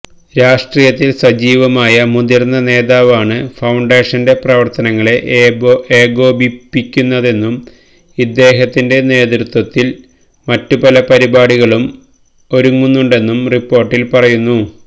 രാഷ്ട്രീയത്തില് സജീവമായ മുതിര്ന്ന നേതാവാണ് ഫൌണ്ടേഷന്റെ പ്രവര്ത്തനങ്ങളെ ഏകോപിപ്പിക്കുന്നതെന്നും ഇദ്ദേഹത്തിന്റെ നേതൃത്വത്തില് മറ്റ് പല പരിപാടികളും ഒരുങ്ങുന്നുണ്ടെന്നും റിപ്പോര്ട്ടില് പറയുന്നു